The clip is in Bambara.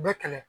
Bɛɛ kɛlɛ